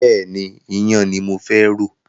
Bẹ́ẹ̀ni, iyán ni mo fẹ́ rò.